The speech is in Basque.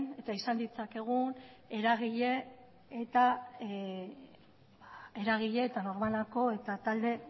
eta izan ditzakegun eragile eta norbanako eta talde